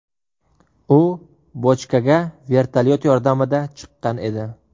U bochkaga vertolyot yordamida chiqqan edi.